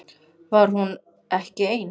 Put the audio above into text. Var hún ekki ein?